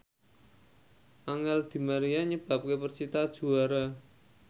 Angel di Maria nyebabke persita juara